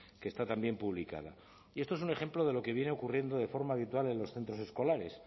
que está también publicada y esto es un ejemplo de lo que viene ocurriendo de forma habitual en los centros escolares